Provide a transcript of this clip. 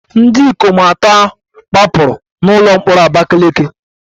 Ndị ikom atọ gbapụrụ n'ụlọ mkpọrọ Abakaleke